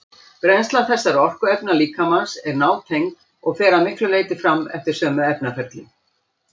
Brennsla þessara orkuefna líkamans er nátengd og fer að miklu leyti fram eftir sömu efnaferlum.